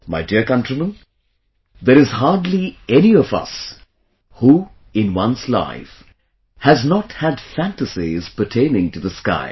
My dear countrymen, there is hardly any of us who, in one's life, has not had fantasies pertaining to the sky